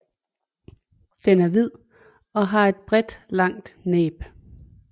Den er hvid og har et bredt langt næb